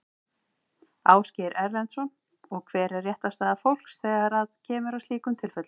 Ásgeir Erlendsson: Og hver er réttarstaða fólks þegar að það kemur að slíkum tilfellum?